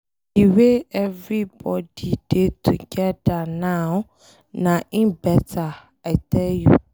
The way everybody dey together now na im beta, I tell you.